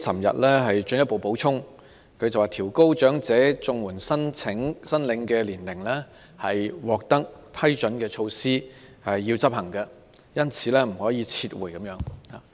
特首昨天進一步補充︰"調高申領長者綜援的年齡是已獲批准的措施，必須執行，因此不可撤回"。